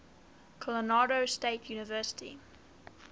colorado state university